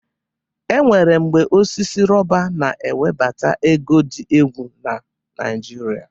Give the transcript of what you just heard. E nwere mgbe osisi rọba na-ewebata ego dị egwu na Naịjịrịa.